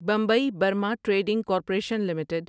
Bombay Burma trading corporation limited